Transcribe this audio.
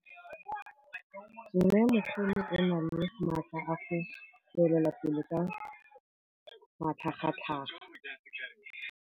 Mmêmogolo o na le matla a go tswelela pele ka matlhagatlhaga.